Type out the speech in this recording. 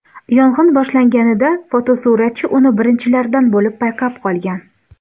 Yong‘in boshlanganida, fotosuratchi uni birinchilardan bo‘lib payqab qolgan.